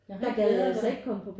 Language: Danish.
Jeg har ikke været der